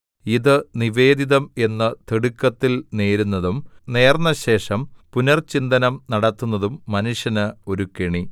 ഇത് നിവേദിതം എന്ന് തിടുക്കത്തിൽ നേരുന്നതും നേർന്നശേഷം പുനർചിന്തനം നടത്തുന്നതും മനുഷ്യന് ഒരു കെണി